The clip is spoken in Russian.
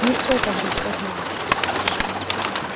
не всё то ври что знаешь